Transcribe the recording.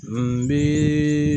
N bii.